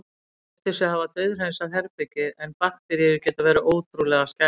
Þau héldu sig hafa dauðhreinsað herbergið- en bakteríur geta verið ótrúlega skæðar.